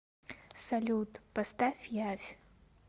салют поставь явь